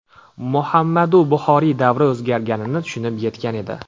Muhammadu Buxoriy davr o‘zgarganini tushunib yetgan edi.